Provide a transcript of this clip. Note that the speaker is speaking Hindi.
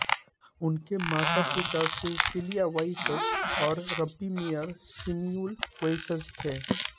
उनके मातापिता सिसीलिआ वेइस्ज़ और रब्बि मेयर सेमिउल वेइस्ज़ थे